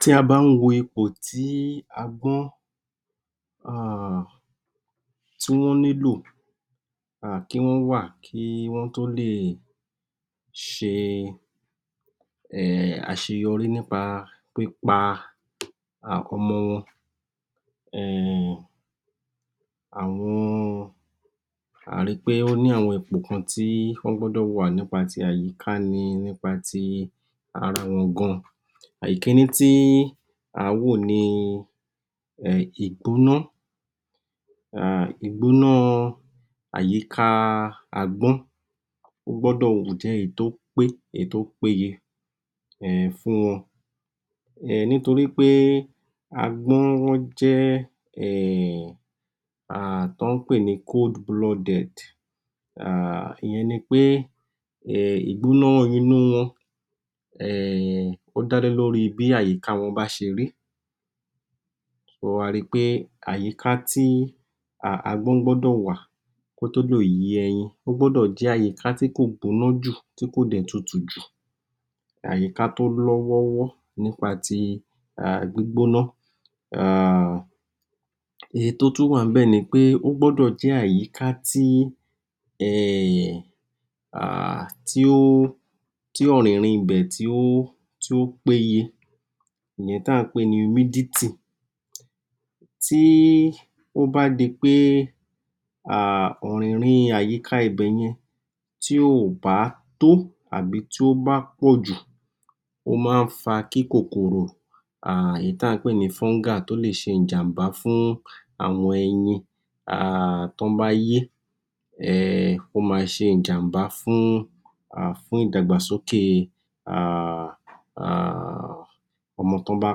Tí a bá wo ipò tí agbọ́n um tí wọ́n nílò um kí wọ́n wà kí wọ́n tó lè ṣe um àṣeyọrí nípa pípa ọmọ wọn um, àwọn, àá ri pé ó ní àwọn ipò kan tí wọ́n gbọ́dọ̀ wà, nípa ti àyíká ni, nípa ti ara wọn gan. Ìkínní tí àá wò ni um ìgbóná, um ìgbóná àyíká agbọ́n ó gbúdọ̀ jẹ́ èyí tó pé, èyí tó péye um fún wọn um nítorí pé agbọ́n wọ́n jẹ um oun tọ́ ń pè ní (cold blooded) um ìyẹn ni pé ìgbọ́ná inú wọn um ó dá lé lóri bí àyíká wọn bá ṣe rí, a ri pé àyíká tí agbón gbọ́dọ̀ wà kó tó lè yé ẹyin, ó gbọ́dọ̀ jẹ́ àyíkà tí kò gbóná jù tí kò dẹ̀ tutù jù, àyíká tó lọ́ wọ́rọ́ nípa ti um gbígbóná um, èyí tó tún wà níbẹ̀ ni pé, ó gbọ́dọ̀ jẹ́ àyíká tí um tí ó, tí ọ̀rìnrin ibẹ̀, tí ó péye, ìyẹn tí à ńpè ní (Humidity), tí ó bá di pé um ọ̀rìnrin àyíká ibẹ̀yẹn, tí ò bá tó àbí tó bá pọ̀jù, ó máa ń fa kí kòkòrò um èyí tí à ń pè ní (Fungi), kí ó fa ìjàm̀bá fún àwọn ẹyin um tó bá yé, um ó ma ṣe ìjàm̀bá fún ìdàgbàsókè um ọmọ tọ́ bá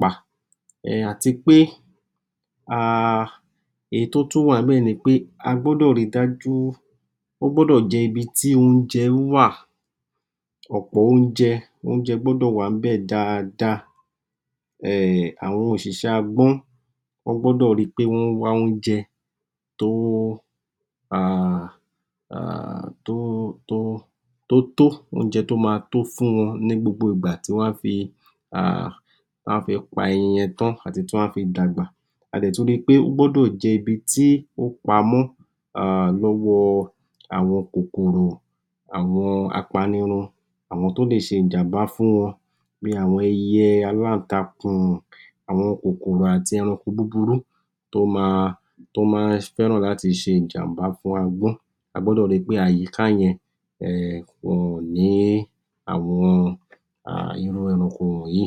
pa, um àti pé um èyí tó tún wà ń bẹ̀ ni pé, a gbọ́dọ̀ ri dájú, ó gbọ́dọ̀ jẹ́ ibi tí oúnjẹ wà, ọ̀pọ̀ oúnjẹ, oúnjẹ gbọ́dọ̀ wà ń bẹ̀ daada, um àwọn òṣìṣé agbọ́n wọ́n gbọ́dọ̀ ri pé wọ́n wá oúnjẹ tó um tó tó, oúnjẹ tó ma tó fún wọn ní gbogbo ìgbà tí wọn á fi um tí wọ́n á fi pa ẹyin yẹn tán àti tí wọ́n á fi dàgbà, a dẹ̀ tún ri pé, ó gbọ́dọ̀ jẹ́ ibi tí ó pamọ́ lọ́wọ àwọn kòkòrò, àwọn apanirun, àwọn tó lè ṣe ìjàm̀bá fún wọ́n, bí àwọn ẹyẹ, aláǹtakùn, àwọn kòkòrò àti ẹranko búburú tó ma, tó máa ń fẹ́ràn láti ṣe ìjàm̀bá fún agbọ́n, a gbọ́dọ̀ ri pé àyíká yẹn um wọn ò ní irú àwọn eranko wọ̀nyí.